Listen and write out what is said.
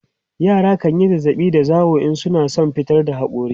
yara kanyi zazzaɓi da zawo in suna San fitar da hakori